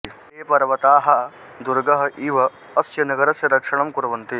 ते पर्वताः दुर्गः इव अस्य नगरस्य रक्षणं कुर्वन्ति